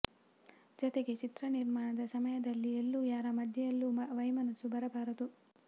ಜತೆಗೆ ಚಿತ್ರ ನಿರ್ಮಾಣದ ಸಮಯದಲ್ಲಿ ಎಲ್ಲೂ ಯಾರ ಮಧ್ಯದಲ್ಲೂ ವೈಮನಸ್ಸು ಬರಬಾರದು